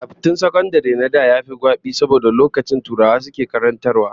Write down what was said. Karatun sakandare na da yafi gwabi saboda lokacin turawa suke koyarwa